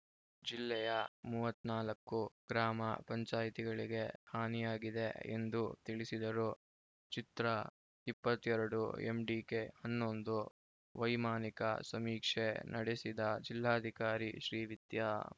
ಜಿಲ್ಲೆಯ ಮೂವತ್ತ್ ನಾಲ್ಕು ಗ್ರಾಮ ಪಂಚಾಯಿತಿಗಳಿಗೆ ಹಾನಿಯಾಗಿದೆ ಎಂದು ತಿಳಿಸಿದರು ಚಿತ್ರ ಇಪ್ಪತ್ತ್ ಎರಡು ಎಂಡಿಕೆ ಹನ್ನೊಂದು ವೈಮಾನಿಕ ಸಮೀಕ್ಷೆ ನಡೆಸಿದ ಜಿಲ್ಲಾಧಿಕಾರಿ ಶ್ರೀವಿದ್ಯಾ